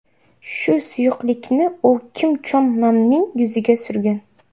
Shu suyuqlikni u Kim Chon Namning yuziga surgan.